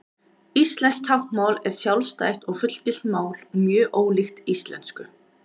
íslenskt táknmál er sjálfstætt og fullgilt mál og mjög ólíkt íslensku